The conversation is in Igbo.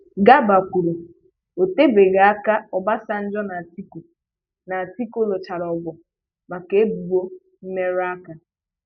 Garba kwuru,'Otebeghị aka Obasanjo na Atiku na Atiku lụchara ọgụ maka ebụbọ mmerụaka.